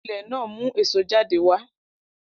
Ilẹ̀ náà mu èso jáde wá